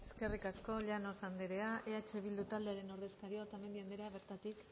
eskerrik asko llanos andrea eh bildu taldearen ordezkaria otamendi andrea bertatik